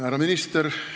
Härra minister!